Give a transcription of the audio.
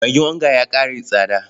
Magin onga ya ƙara tsada.